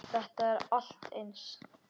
Þetta er allt eins!